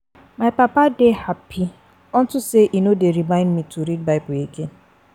My papa dey happy unto say e no dey remind me to read bible again